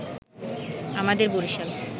আমাদের বরিশাল